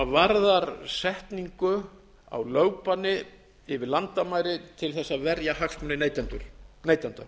varðar setningu á lögbanni yfir landamæri til þess að verja hagsmuni neytenda